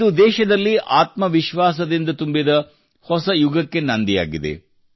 ಇದು ದೇಶದಲ್ಲಿ ಆತ್ಮವಿಶ್ವಾಸದಿಂದ ತುಂಬಿದ ಹೊಸ ಯುಗಕ್ಕೆ ನಾಂದಿಯಾಗಿದೆ